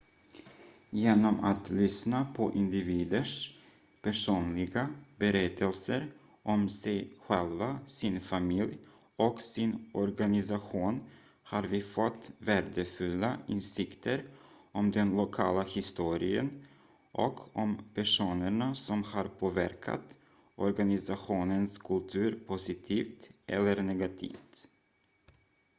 genom att lyssna på individers personliga berättelser om sig själva sin familj och sin organisation har vi fått värdefulla insikter om den lokala historien och om personerna som har påverkat organisationens kultur positivt eller negativt